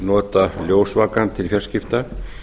nota ljósvakann til fjarskipta